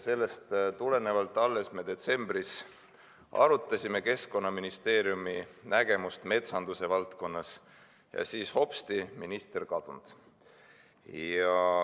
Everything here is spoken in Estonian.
Alles me detsembris arutasime Keskkonnaministeeriumi nägemust metsanduse valdkonnas ja siis hopsti – minister kadunud.